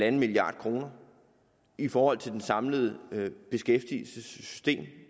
en milliard kroner i forhold til det samlede beskæftigelsessystem